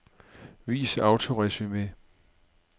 Vis autoresumé.